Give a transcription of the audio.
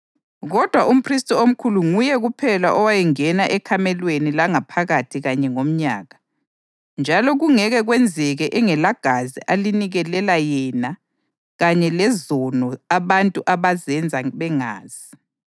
Kodwa umphristi omkhulu nguye kuphela owayengena ekamelweni langaphakathi kanye ngomnyaka, njalo kungeke kwenzeke engelagazi alinikelela yena kanye lezono abantu abazenza bengazi.